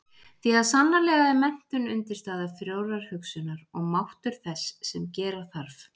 Því að sannarlega er menntun undirstaða frjórrar hugsunar og máttur þess sem gera þarf.